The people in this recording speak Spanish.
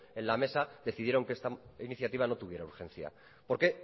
en la mesa decidieron que esta iniciativa no tuviera urgencia porque